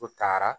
U taara